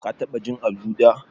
Ka taɓa jin Azu da?